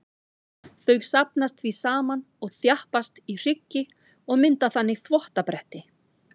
Þau safnast því saman og þjappast í hryggi og mynda þannig þvottabretti.